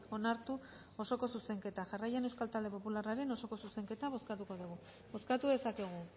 onartu osoko zuzenketa jarraian euskal talde popularraren osoko zuzenketa bozkatuko dugu bozkatu dezakegu